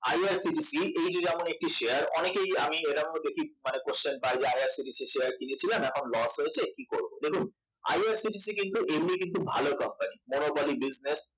IRCTC এই যে যেমন একটি শেয়ার অনেকেই আমি এরকমও দেখি question পায় IRCTC শেয়ার কিনেছিলাম এখন loss হয়েছে কি করব দেখুন IRCTC কিন্তু এমনিই কিন্তু ভালো company monopoly business